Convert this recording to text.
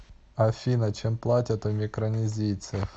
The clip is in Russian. афина чем платят у микронезийцев